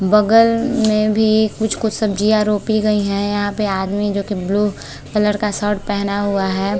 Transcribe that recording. बगल में भी कुछ - कुछ सब्जिया रोपी गई हैं जहा पे अदमी जो की ब्लू कलर का शर्ट पहना हुआ हैं।